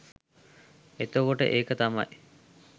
එතකොට ඒක තමයි